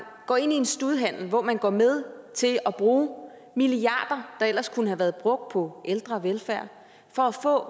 går ind i en studehandel hvor man går med til at bruge milliarder af der ellers kunne have været brugt på ældre og velfærd for at få